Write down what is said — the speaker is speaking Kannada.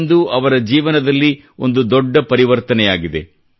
ಇಂದು ಅವರ ಜೀವನದಲ್ಲಿ ಒಂದು ದೊಡ್ಡ ಪರಿವರ್ತನೆಯಾಗಿದೆ